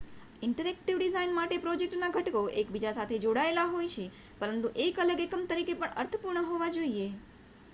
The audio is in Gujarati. ઇન્ટરેક્ટિવ ડિઝાઇન માટે પ્રોજેક્ટના ઘટકો એકબીજા સાથે જોડાયેલા હોય છે પરંતુ એક અલગ એકમ તરીકે પણ અર્થપૂર્ણ હોવા જોઈએ